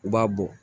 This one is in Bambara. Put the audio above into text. U b'a bɔ